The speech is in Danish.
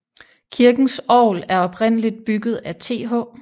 Kirkens orgel er oprindeligt bygget af TH